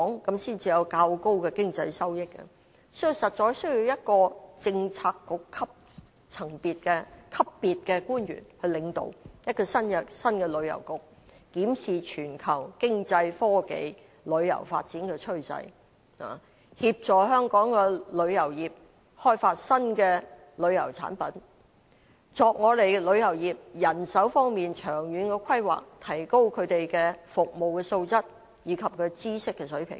這樣才會有較高的經濟收益，所以實在需要由一位政策局級別的官員領導一個新的旅遊局，檢視全球經濟、科技、旅遊發展的趨勢，協助香港的旅遊業開發新的旅遊產品，為旅遊業的人手方面作長遠的規劃，提高他們的服務素質及知識水平。